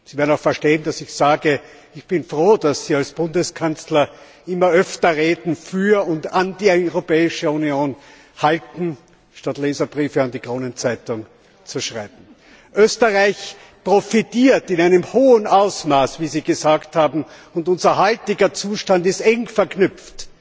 Sie werden verstehen, dass ich betone Ich bin froh, dass Sie als Bundeskanzler immer öfter Reden für und an die Europäische Union halten, statt Leserbriefe an die Kronenzeitung zu schreiben. Österreich profitiert in einem hohen Ausmaß von der EU, wie Sie gesagt haben, und unser heutiger Zustand ist eng verknüpft